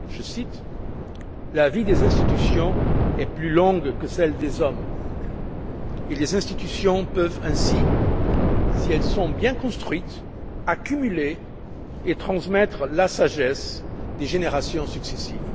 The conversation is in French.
Je cite La vie des institutions est plus longue que celle des hommes et les institutions peuvent ainsi, si elles sont bien construites, accumuler et transmettre la sagesse des générations successives.